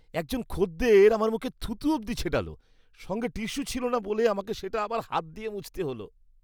একজন খদ্দের আমার মুখে থুতু অবধি ছেটাল। সঙ্গে টিস্যু ছিলনা না বলে আমাকে সেটা আবার হাত দিয়ে মুছতে হল!